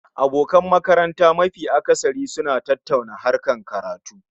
Abokan makaranta mafi akasari suna tattauna harkar karatu